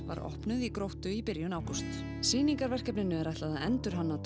var opnað í Gróttu í byrjun ágúst sýningarverkefninu er ætlað að endurhanna